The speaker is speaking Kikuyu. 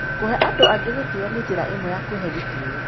Kũhe andũ angĩ gĩtĩo nĩ njĩra ĩmwe ya kwĩhe gĩtĩo.